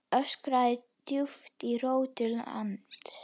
öskraði djúpt í rótum lands